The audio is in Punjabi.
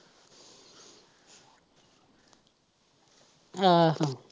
ਅਹ